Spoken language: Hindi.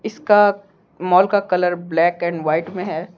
इसका मॉल का कलर ब्लैक एंड वाइट में है।